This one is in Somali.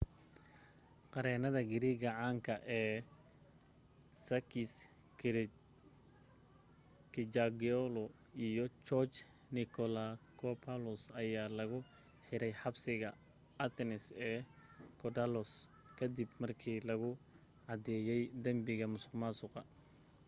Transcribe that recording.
qareennada greek caanka ee sakis kechagioglou iyo george nikolakopoulos ayaa lagu xiray xabsiga athens ee korydallus ka dib markii lagu cadeeyey dambiga musuqmaasuqa